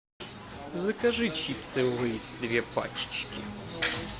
закажи чипсы лейс две пачечки